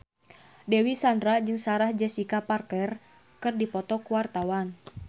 Dewi Sandra jeung Sarah Jessica Parker keur dipoto ku wartawan